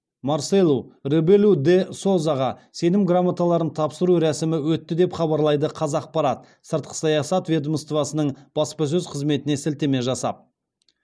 марселу ребелу де созаға сенім грамоталарын тапсыру рәсімі өтті деп хабарлайды қазақпарат сыртқы саясат ведомоствосының баспасөз қызметіне сілтеме жасап